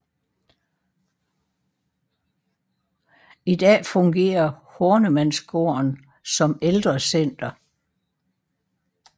I dag fungerer Hornemannsgården som ældrecenter